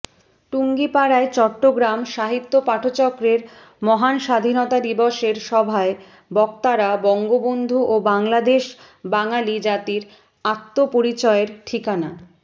টুঙ্গীপাড়ায় চট্টগ্রাম সাহিত্যপাঠচক্রের মহান স্বাধীনতা দিবসের সভায় বক্তারা বঙ্গবন্ধু ও বাংলাদেশ বাঙালী জাতির আত্মপরিচয়ের ঠিকানা